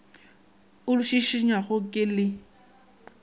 o le šišinyago ke le